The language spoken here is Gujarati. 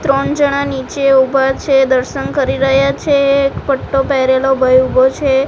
ત્રણ જણા નીચે ઉભા છે દર્શન કરી રહ્યા છે એક પટ્ટો પહેરેલો ભઈ ઉભો છે.